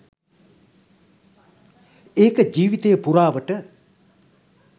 ඒක ජීවීතය පුරාවට